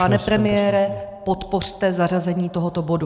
Pane premiére, podpořte zařazení tohoto bodu.